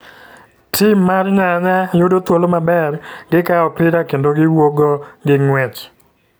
Tim mar nyanya yudo thuolo maber ,Gikawo opira kendo giwuok go gi nguech.